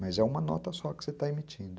Mas é uma nota só que você está emitindo.